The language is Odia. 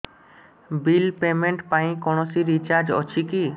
ବିଲ୍ ପେମେଣ୍ଟ ପାଇଁ କୌଣସି ଚାର୍ଜ ଅଛି କି